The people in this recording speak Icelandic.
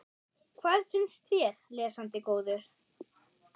Hvað finnst þér, lesandi góður?